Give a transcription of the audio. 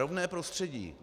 Rovné prostředí.